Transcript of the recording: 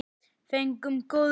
Fengum góð laun.